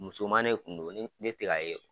Musoman ne kun non n ne ti ka ye